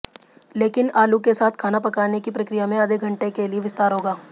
लेकिन आलू के साथ खाना पकाने की प्रक्रिया में आधे घंटे के लिए विस्तार होगा